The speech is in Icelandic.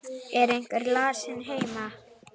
Er einhver lasinn heima?